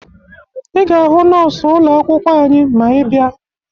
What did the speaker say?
Ị ga-ahụ nọọsụ ụlọ akwụkwọ anyị ma ị bịa